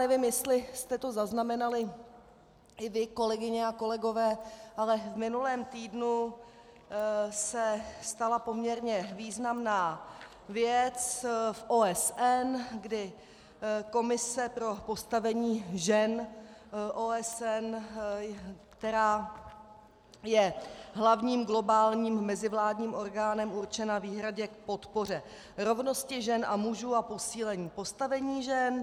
Nevím, jestli jste to zaznamenali i vy, kolegyně a kolegové, ale v minulém týdnu se stala poměrně významná věc v OSN, kdy komise pro postavení žen OSN, která je hlavním globálním mezivládním orgánem určena výhradně k podpoře rovnosti žen a mužů a posílení postavení žen.